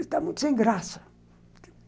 Está muito sem graça.